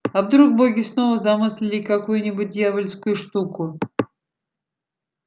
а вдруг боги снова замыслили какую нибудь дьявольскую штуку